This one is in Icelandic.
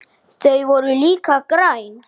Þau voru líka græn.